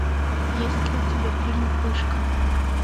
есть ли у тебя фильм пышка